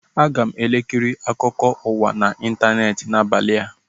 Aga m ekiri akụkọ ụwa na ịntaneetị n'abalị a